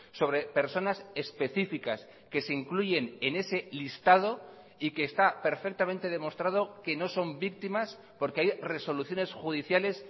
sobre personas específicas que se incluyen en ese listado y que está perfectamente demostrado que no son víctimas porque hay resoluciones judiciales